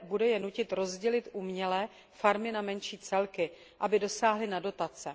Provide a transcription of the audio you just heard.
bude je nutit rozdělit uměle farmy na menší celky, aby dosáhli na dotace.